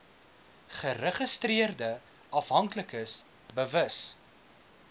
geregistreerde afhanklikes bewus